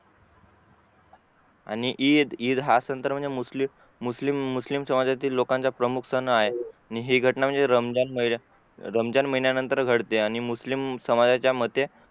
आणि ईद ईद हा सण तर म्हणजे मुस्लिम मुस्लिम समाजातील लोकांचा प्रमुख सण आहे हि घटना म्हणजे रमजान महिन्यांनंतरच घडते आणि जे मुस्लिम समाजाच्या मते